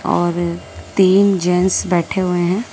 और तीन जेंस बैठे हुए हैं।